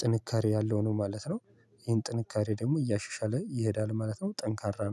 ጥንካሬ ያለው ነው ማለት ነው። ይሄን ጥንካሬ ደግሞ እያሸሻለ ይሄዳል ማለት ነው ጠንካራ ነው።